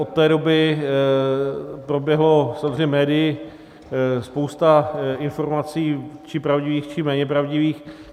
Od té doby proběhla samozřejmě médii spousta informací, či pravdivých, či méně pravdivých.